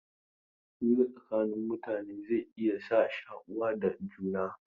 Hira tsakanin mutane zai iya sa shaku da juna.